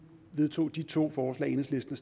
vedtog de to forslag enhedslisten